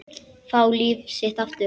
Fá líf sitt aftur.